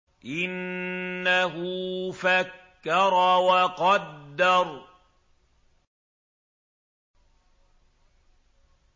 إِنَّهُ فَكَّرَ وَقَدَّرَ